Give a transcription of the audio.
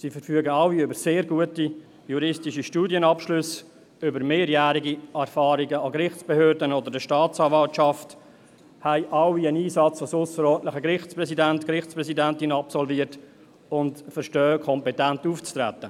Sie verfügen alle über sehr gute juristische Studienabschlüsse, über mehrjährige Erfahrung in Gerichtsbehörden oder in der Staatsanwaltschaft, haben alle einen Einsatz als ausserordentliche Gerichtspräsidentin oder ausserordentlicher Gerichtspräsident absolviert und verstehen es, kompetent aufzutreten.